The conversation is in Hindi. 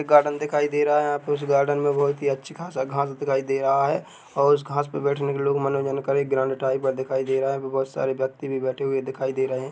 एक गार्डन दिखाई दे रहा है यहाँ पे उस गार्डन में बहुत ही अच्छी ख़ासा घास दिखाई दे रहा है और उस घास पे बैठने पे लोग मनोरंजन करे ग्राउंड टाइप का दिखाई दे रहा वहाँ पे बोहत सारे व्यक्ति भी बैठे हुए दिखाई दे रहे है।